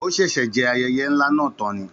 Ó ṣẹ̀ṣẹ̀ jẹ ayẹyẹ ńlá náà tán.